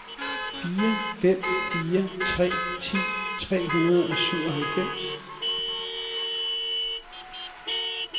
fire fem fire tre ti tre hundrede og syvoghalvfems